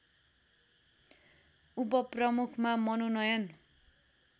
उपप्रमुखमा मनोनयन